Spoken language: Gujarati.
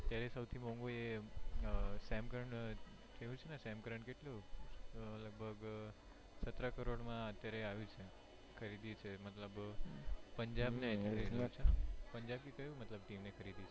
અત્યારે સોંથી મોંઘુ એ some currant કેવું છે ને some current કેટલું લગભગ સતરા કરોડ માં અત્યારે આવ્યું છે ખરીદી છે મતલબ પંજાબ ને પંજાબ એ કયું મતલબ team એ ખરીદયું છે.